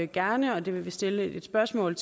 gerne og det vil vi stille et spørgsmål